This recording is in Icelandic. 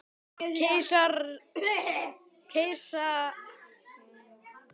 Keisaraynjan segir hann til ábendingar, drekkur vín